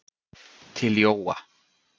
Til Jóa.